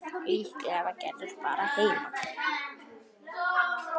Líklega var Gerður bara heima.